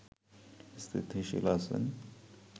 স্থিতিশীল আছেন